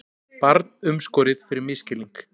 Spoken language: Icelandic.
Barn umskorið fyrir misskilning